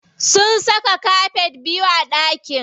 Sun saka kafet biyu a ɗakin.